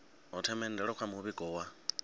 ho themendelwa kha muvhigo wa